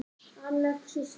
Anna Kristín